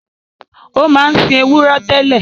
Ó máa ń sin ewúrẹ́ tẹ́lẹ̀